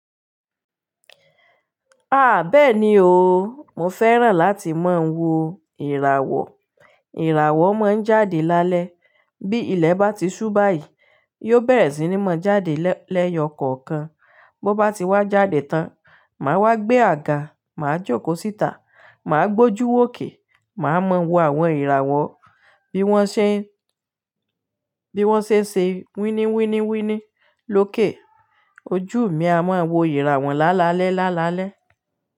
Bẹ́ẹ̀ni o, mo fẹ́ràn láti máa ń wo ìràwọ̀. Ìràwọ̀ máa ń jáde lálẹ́ bí ilẹ̀ bá ti ṣú báyìí, yóò bẹ̀rẹ̀ sí ní mọ́ jáde lẹ́yọ̀ kọ̀ọ̀kan. Bí ó bá ti wá jáde tán, màá wá gbé àga, màá jókòó síta, màá gbójú òkè, màá mọ wo àwọn ìràwọ̀ bí wọ́n ṣe, bí wọ́n ṣe ń ṣe wínníwínníwínní lókè. Ojú mi a mọ wo ìràwọ̀ lálalẹ́ lálalẹ́